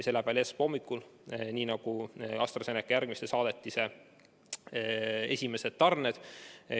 See läheb välja esmaspäeva hommikul, nii nagu AstraZeneca järgmise saadetise esimesed tarned.